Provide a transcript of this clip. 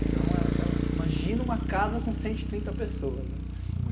Então é aquela... imagina uma casa com cento e trinta pessoas, né?